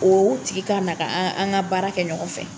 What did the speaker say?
O tigi ka na an ka baara kɛ ɲɔgɔn fɛ.